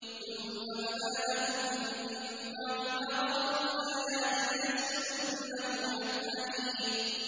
ثُمَّ بَدَا لَهُم مِّن بَعْدِ مَا رَأَوُا الْآيَاتِ لَيَسْجُنُنَّهُ حَتَّىٰ حِينٍ